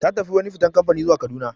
Ta tafi wani fitan kamfani zuwa Kaduna.